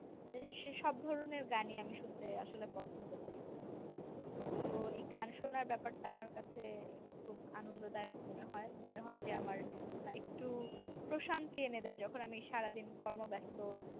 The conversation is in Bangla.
সেসব ধরনের গানই আমি শুনতে আসলে পছন্দ করি তো এই গান শোনার ব্যাপার টা আমার কাছে খুব আনন্দদায়ক মনে হয় মনে হয় যে আমার একটু প্রশান্তি এনে দেয় যখন আমি সারাদিন কর্মব্যাস্ত